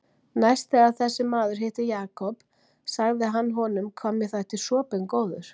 Næst þegar þessi maður hitti Jakob sagði hann honum hvað mér þætti sopinn góður.